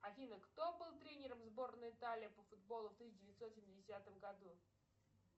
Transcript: афина кто был тренером сборной италии по футболу в тысяча девятьсот семидесятом году